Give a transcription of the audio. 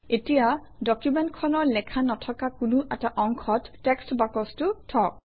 এতিয়া ডকুমেণ্টখনৰ লেখা নথকা কোনো এটা অংশত টেক্সট বাকচটো থওক